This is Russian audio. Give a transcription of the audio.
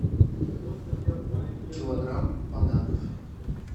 килограмм бананов